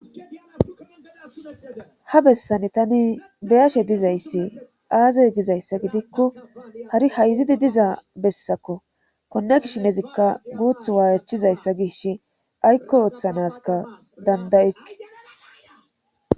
ha bessani tani beyashe dizayssi aaze gizayssa gidikko hari hayzidi diza bessakko konne kishinezikka guuth waachizayssa gish aykko ooththanaska dandayike